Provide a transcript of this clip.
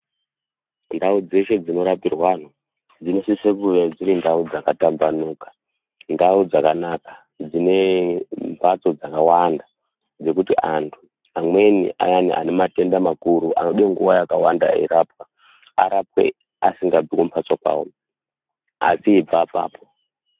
Ndau dzeshe dzinorapirwe antu dzinosise kunge dziri ndau dzakatambanuka, ndau dzakanaka dzine mhatso dzakawanda dzekuti antu amweni aya ane matenda makuru anoda nguwa yakawanda eirapwa, arapwe asingabvi kumhatso kwavo asi eibva apapo.